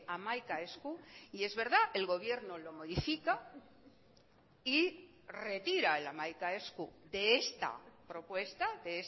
hamaika esku y es verdad el gobierno lo modifica y retira el hamaika esku de esta propuesta de